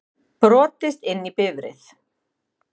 Brotist inn í bifreið